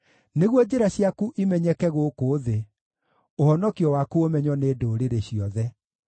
nĩguo njĩra ciaku imenyeke gũkũ thĩ, ũhonokio waku ũmenywo nĩ ndũrĩrĩ ciothe.